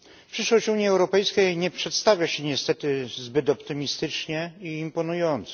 Przyszłość Unii Europejskiej nie przedstawia się niestety zbyt optymistycznie i imponująco.